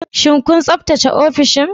Shin kun tsaftace ofishin?